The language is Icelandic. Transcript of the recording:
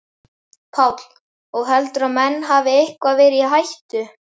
Páll: Og heldurðu að menn hafi eitthvað verið í hættu?